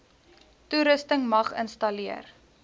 toerusting mag installeer